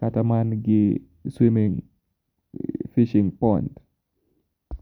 Kata man gi [cvs] swimming, fishing pond..